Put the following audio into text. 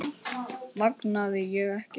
Vangaði ég ekki vel?